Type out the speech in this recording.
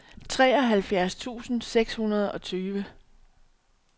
treoghalvfjerds tusind seks hundrede og tyve